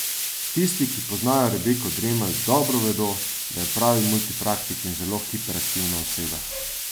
Tisti, ki poznajo Rebeko Dremelj dobro vedo, da je pravi multipraktik in zelo hiperaktivna oseba.